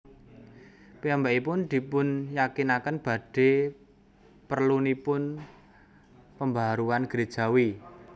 Piyambakipun dipunyakinaken badhe perlunipun pembaharuan gerejawi